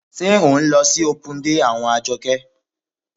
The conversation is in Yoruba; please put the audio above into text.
Ṣé ń lọ sí opun dé àwọn Àjọkẹ́?